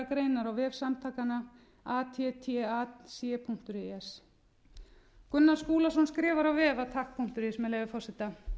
á vef samtakanna attac punktur is gunnar skúlason skrifar á vef attac punktur is með leyfi forseta